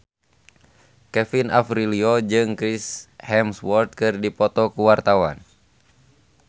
Kevin Aprilio jeung Chris Hemsworth keur dipoto ku wartawan